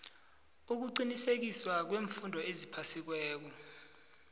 ukuqinisekiswa kweemfundo eziphasiweko